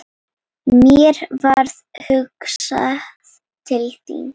Mér varð hugsað til þín.